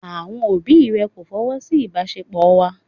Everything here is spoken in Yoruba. Àwọn òbí rẹ̀ kò fọwọ́ sí ìbáṣepọ̀ wa.